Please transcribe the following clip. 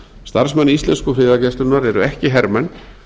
starfsmenn íslensku friðargæslunnar eru ekki hermenn